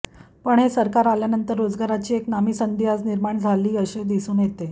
पण हे सरकार आल्यानंतर रोजगाराची एक नामी संधी आज निर्माण झाली असे दिसून येते